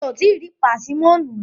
Mi ò tíì rí pásímọ̀nù rí.